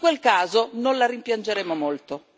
In quel caso, non la rimpiangeremo molto.